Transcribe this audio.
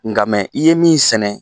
Nka mɛ i ye min sɛnɛ,